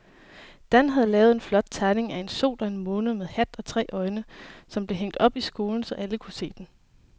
Dan havde lavet en flot tegning af en sol og en måne med hat og tre øjne, som blev hængt op i skolen, så alle kunne se den.